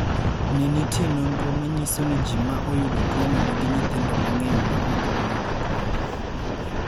Ne nitie nonro ma nyiso ni ji ma oyudo tuo no nigi nyithindo mang�eny ma ok oyudo tuo no.